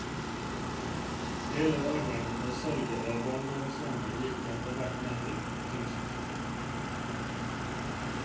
Hele arven og salget av barndomshjemmet gikk etter hvert med til kunstkjøp.